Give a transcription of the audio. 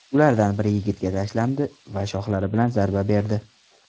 Ulardan biri yigitga tashlandi va shoxlari bilan zarba berdi.